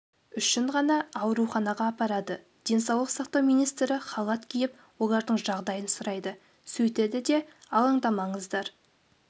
үшін ғана ауруханаға апарады денсаулық сақтау министрі халат киіп олардың жағдайын сұрайды сөйтеді де алаңдамаңыздар